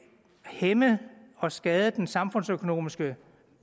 hæmme og skade den samfundsøkonomiske